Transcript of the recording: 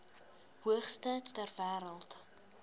hoogste ter wêreld